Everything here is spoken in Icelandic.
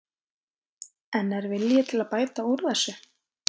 En er vilji til að bæta úr þessu?